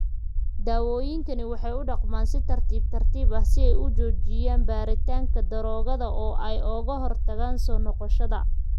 Daawooyinkani waxay u dhaqmaan si tartiib tartiib ah si ay u joojiyaan rabitaanka daroogada oo ay uga hortagaan soo noqoshada.